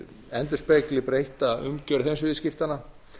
endurspegli breytta umgjörð heimsviðskiptanna